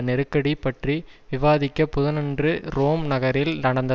நெருக்கடி பற்றி விவாதிக்க புதனன்று ரோம் நகரில் நடந்த